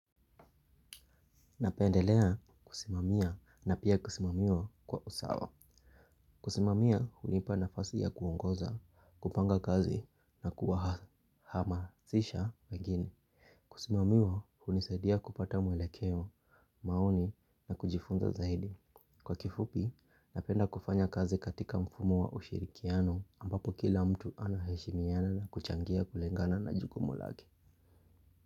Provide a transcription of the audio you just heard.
Napendelea kusimamia na pia kusimamia kwa usawa. Kusimamia hunipa nafasi ya kuongoza, kupanga kazi na kuwahamasisha wengine. Kusimamiwa unisaidia kupata mwelekeo, maoni na kujifunza zaidi. Kwa kifupi, napenda kufanya kazi katika mfumo wa ushirikiano ambapo kila mtu anaheshimiana na kuchangia kulengana na jukumu lake.